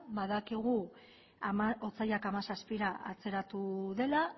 badakigu otsailak hamazazpira atzeratu dela